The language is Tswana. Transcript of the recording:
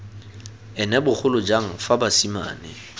ene bogolo jang fa basimane